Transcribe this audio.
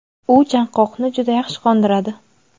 u chanqoqni juda yaxshi qondiradi.